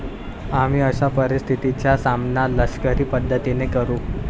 आम्ही अशा परिस्थितीचा सामना लष्करी पद्धतीने करू.